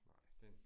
Nej det